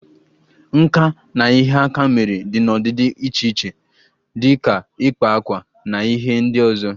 Nka na ihe aka mere dị n'ọdịdị dị iche iche dị ka ịkpa akwa na ihe ndị ọzọ